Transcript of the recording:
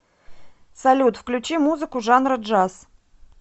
салют включи музыку жанра джаз